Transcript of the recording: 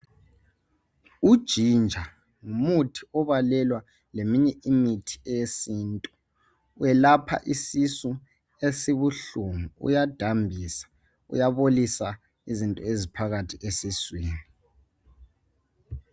Ujinja ngumuthi okubalelwa leminye imithi yesintu welapha isisu esibuhlungu uyadambisa uyabolisa izinto ezinengi eziphakathi esiswini.